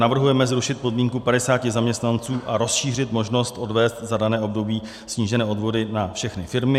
Navrhujeme zrušit podmínku 50 zaměstnanců a rozšířit možnost odvést za dané období snížené odvody na všechny firmy.